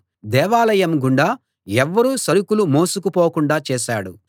దేవాలయం గుండా ఎవ్వరూ సరుకులు మోసుకుపోకుండా చేశాడు